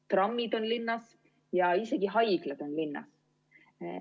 Trammid on linnas ja isegi haiglad on linnas.